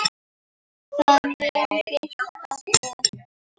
Það mun birta til.